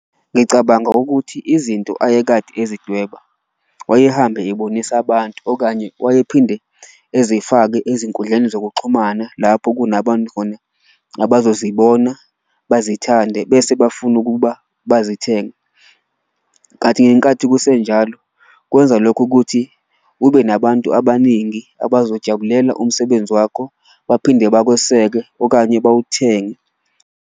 Ngicabanga ukuthi izinto ayekade ezidweba wayehambe ebonisa abantu okanye wayephinde ezifake ezinkundleni zokuxhumana lapho kunabantu khona abazozibona bazithande, bese bafuna ukuba bazithenge. Kathi ngenkathi kusenjalo kwenza lokho ukuthi ube nabantu abaningi abazojabulela umsebenzi wakho, baphinde bakweseke okanye bawuthenge.